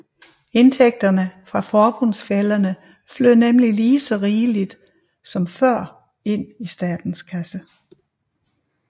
Indtægterne fra forbundsfællerne flød nemlig lige så rigeligt som før ind i statens kasse